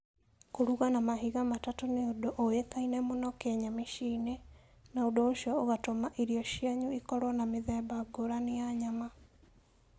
Kũruga na mahiga matatũ nĩ ũndũ ũĩkaine mũno Kenya mĩciĩ-inĩ, na ũndũ ũcio ũgatũma irio cianyu ikorũo na mĩthemba ngũrani ya nyama.